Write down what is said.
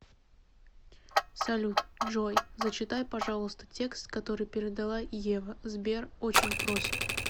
салют джой зачитай пожалуйста текст который передала ева сбер очень просит